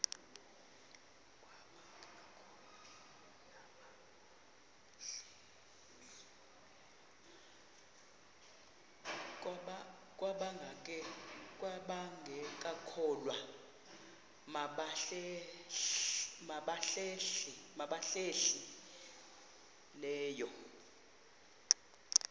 kwabangekakholwa nabahlehli leyo